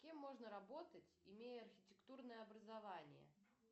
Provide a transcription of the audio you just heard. кем можно работать имея архитектурное образование